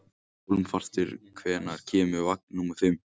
Hólmfastur, hvenær kemur vagn númer fimm?